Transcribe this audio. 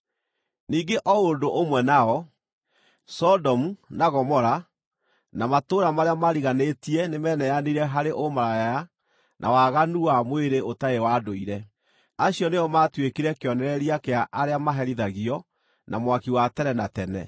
Ningĩ o ũndũ ũmwe nao, Sodomu, na Gomora, na matũũra marĩa maariganĩtie nĩmeneanire harĩ ũmaraya na waganu wa mwĩrĩ ũtarĩ wa ndũire. Acio nĩo maatuĩkire kĩonereria kĩa arĩa maherithagio na mwaki wa tene na tene.